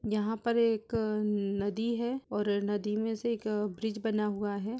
यहां पर एक नदी है और नदी में से एक अ ब्रिज बना हुआ है।